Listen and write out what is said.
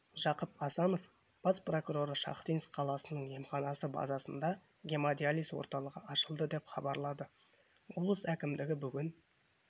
жақып асанов бас прокуроры шахтинск қаласының емханасы базасында гемодиализ орталығы ашылды деп хабарлады облыс әкімдігі бүгін